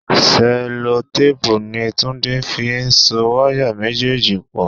Sẹ́lótéèpu ni Túndé fi so wáyà méjèèjì pò.